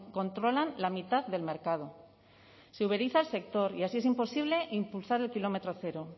controlan la mitad del mercado se uberiza el sector y así es imposible impulsar el kilómetro cero